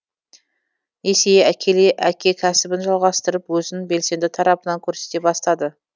есейе әкеле әке кәсібін жалғастырып өзін белсенді тарапынан көрсете бастады